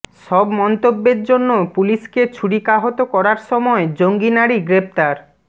সব মন্তব্যের জন্য পুলিশকে ছুরিকাহত করার সময় জঙ্গি নারী গ্রেপ্তার